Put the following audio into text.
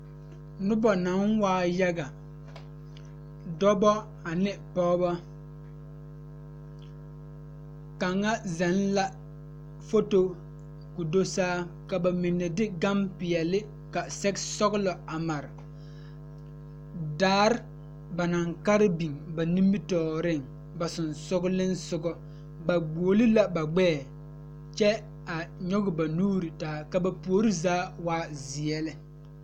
Nobɔ naŋ waa yaga dɔbɔ ane pɔɔbɔ kaŋa zɛŋ la foto ko do saa ka ba mine de gampeɛle ka sɛge sɔglɔ a mare daare ba naŋ kare biŋ ba nimitooreŋ ba seŋsugliŋsugɔ ba guoli la ba gbɛɛ kyɛ a nyoge ba nuure taa ka ba puori zaa waa zeɛ lɛ.